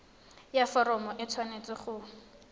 ya foromo e tshwanetse go